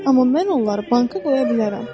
Amma mən onları banka qoya bilərəm.